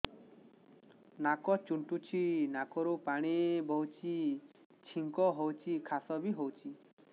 ନାକ ଚୁଣ୍ଟୁଚି ନାକରୁ ପାଣି ବହୁଛି ଛିଙ୍କ ହଉଚି ଖାସ ବି ହଉଚି